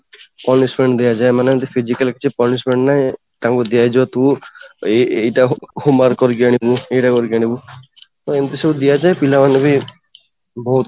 punishment ଦିଆ ଯାଏ ଏମାନଙ୍କୁ physically କିଛି punishment ନାହିଁ ତାଙ୍କୁ ଦିଆ ଯିବ ତୁ ଏଇ ଏଇ ଟା homework କରିକି ଆଣିବୁ ଏଇଟା କରିକି ଆଣିବୁତ ଏମିତି ସବୁ ଦିଆଯାଏ ପିଲାମାନଙ୍କୁ ବହୁତ